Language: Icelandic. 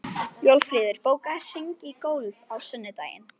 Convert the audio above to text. Jófríður, bókaðu hring í golf á sunnudaginn.